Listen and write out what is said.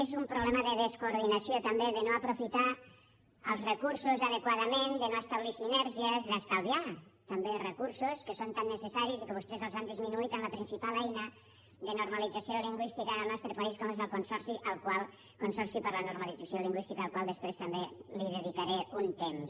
és un problema de descoordinació també de no aprofitar els recursos adequadament de no establir sinergies d’estalviar també recursos que són tan necessaris i que vostès els han disminuït en la principal eina de normalització lingüística del nostre país com és el consorci per la normalització lingüística al qual després també dedicaré un temps